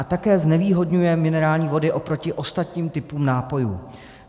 A také znevýhodňuje minerální vody oproti ostatním typům nápojů.